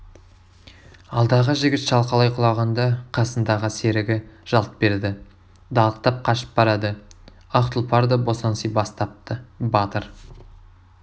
алдағы жігіт шалқалай құлағанда қасындағы серігі жалт берді далақтап қашып барады ақ тұлпар да босаңси бастапты батыр